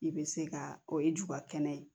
I bɛ se ka o ye ju ka kɛnɛ ye